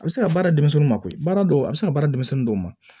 A bɛ se ka baara denmisɛnninw mako baara dɔw a bɛ se ka baara denmisɛnnin dɔw ma